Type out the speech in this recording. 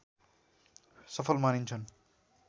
सफल मानिन्छन्